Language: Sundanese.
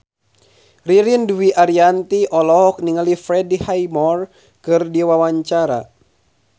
Ririn Dwi Ariyanti olohok ningali Freddie Highmore keur diwawancara